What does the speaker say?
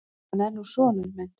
Hann er nú sonur minn.